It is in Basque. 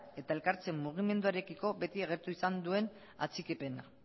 eta elkartze mugimenduarekiko beti agertu izan duen atxikipena